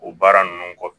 O baara ninnu kɔ